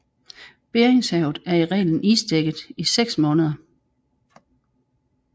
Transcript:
Beringshavet er i reglen isdækket i 6 måneder